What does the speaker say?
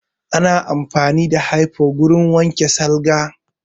Ana amfani da hyfo wurin wanke salga